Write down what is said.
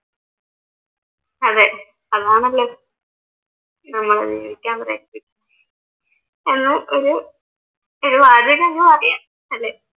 ആദ്യമായിട്ടാ അന്ന് പാടിയെ അല്ലേ?